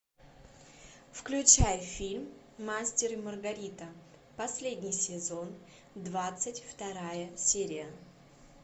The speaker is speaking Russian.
включай фильм мастер и маргарита последний сезон двадцать вторая серия